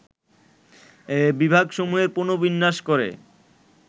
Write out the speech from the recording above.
বিভাগসমূহের পুনর্বিন্যাস করে